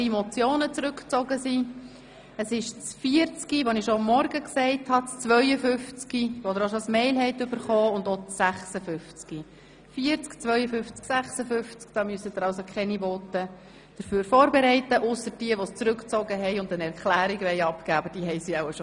Für diese Traktanden brauchen Sie keine Voten vorzubereiten, ausgenommen sind natürlich jene, welche die Vorstösse zurückgezogen haben und eine Erklärung abgeben werden.